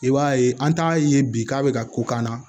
I b'a ye an t'a ye bi k'a bɛ ka ko k'an na